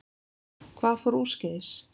Hvað fór úrskeiðis?